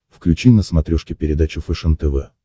включи на смотрешке передачу фэшен тв